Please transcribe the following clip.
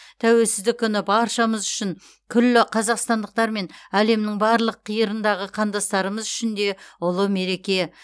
тәуелсіздік күні баршамыз үшін күллі қазақстандықтар мен әлемнің барлық қиырындағы қандастарымыз үшін де ұлы мереке